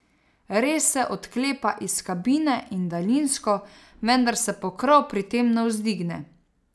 Res se odklepa iz kabine in daljinsko, vendar se pokrov pri tem ne vzdigne.